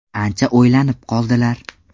Ancha o‘ylanib qoldilar.